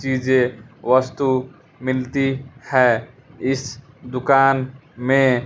चीजे वस्तु मिलती है इस दुकान में।